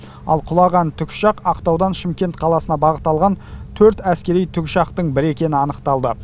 ал құлаған тікұшақ ақтаудан шымкент қаласына бағыт алған төрт әскери тікұшақтың бірі екені анықталды